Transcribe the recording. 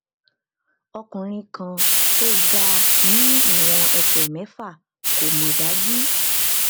ọkùnrin kan tó ga ni iwon ẹsẹ mẹfà kò mọ daju